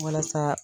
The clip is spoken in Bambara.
Walasa